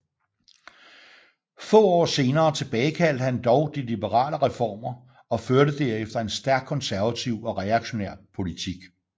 Få år senere tilbagekaldte han dog de liberale reformer og førte derefter en stærkt konservativ og reaktionær politik